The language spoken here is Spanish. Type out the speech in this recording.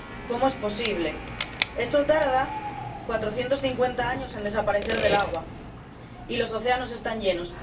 ¿Cómo es posible? Esto tarda 450 años en desaparecer del agua y los océanos están llenos.